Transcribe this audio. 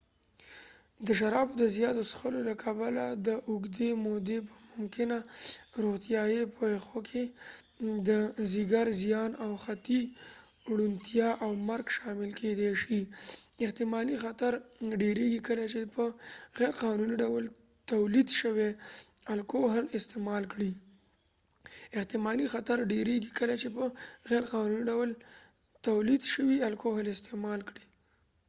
د شرابو د زياتو څښلو له کبله د اوږدې مودې په ممکنه روغتیایی پیښو کې د ځيګر زیان او حتی ړوندتیا او مرګ شامل کيدې شي. احتمالي خطر ډیريږي کله چې په غیرقانوني ډول تولید شوي الکوهل استعمال کړئ.احتمالي خطر ډیريږي کله چې په غیرقانوني ډول تولید شوي الکوهل استعمال کړئ